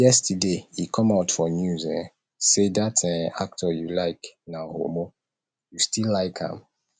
yesterday e come out for news um say dat um actor you like na homo you still like am